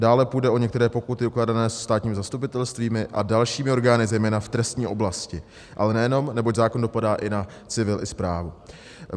Dále půjde o některé pokuty ukládané státními zastupitelstvími a dalšími orgány, zejména v trestní oblasti, ale nejenom, neboť zákon dopadá i na civil, i správu.